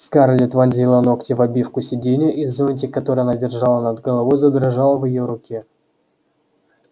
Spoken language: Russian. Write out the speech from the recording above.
скарлетт вонзила ногти в обивку сиденья и зонтик который она держала над головой задрожал в её руке